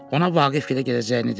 Ona Vaqifgilə gedəcəyini dedi.